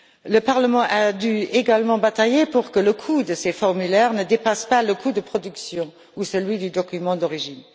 Le Parlement a également dû batailler pour que le coût de ces formulaires ne dépasse pas le coût de production ou celui du document d'origine.